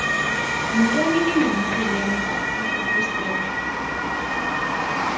yintoni endinokuyenza ukukhusela